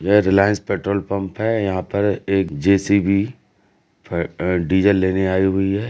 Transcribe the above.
यह Reliance petrol pump है। यहां पर एक जेसीबी फ डीजल लेने आई हुई है।